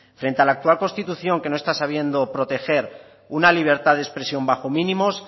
frente a la actual constitución que no está sabiendo proteger una libertad de expresión bajo mínimos